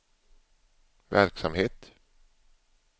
verksamhet